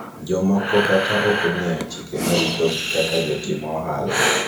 jomoko kata ok ong'eyo chike marito gi kaka jotim ohala